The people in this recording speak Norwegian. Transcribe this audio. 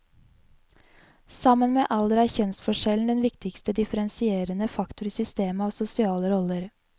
Sammen med alder er kjønnsforskjellen den viktigste differensierende faktor i systemet av sosiale roller.